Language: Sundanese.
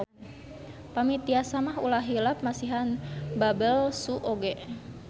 Pami tiasa mah ulah hilap masihan babel-su oge.